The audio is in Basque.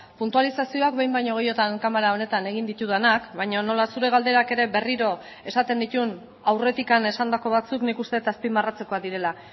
puntualizazioak behin baino gehiagotan kamara honetan egin ditudanak baina nola zure galderak ere berriro esaten dituen aurretik esandako batzuk nik uste dut azpimarratzekoak direla